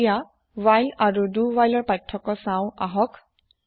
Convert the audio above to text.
এতিয়া হ্ৱাইল আৰু দো হ্ৱাইলৰ পাৰ্থক্য চাও আহক